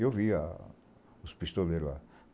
Eu vi a os pistoleiros lá.